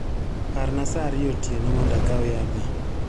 Parna saa ariyo otienomondo akaw yadha.